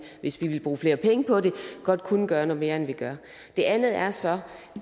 hvis vi ville bruge flere penge på det godt kunne gøre noget mere end vi gør det andet er så